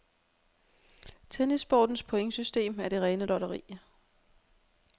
Tennissportens pointsystem er det rene lotteri.